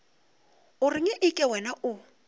o reng eke wena o